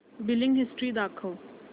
billing history दाखव